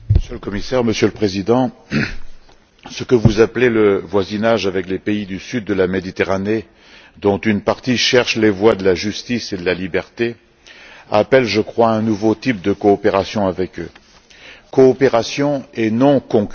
Monsieur le Président, Monsieur le Commissaire, ce que vous appelez le voisinage avec les pays du sud de la Méditerranée, dont une partie cherche les voies de la justice et de la liberté, appelle je crois un nouveau type de coopération avec eux coopération et non concurrence.